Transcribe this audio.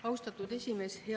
Austatud esimees!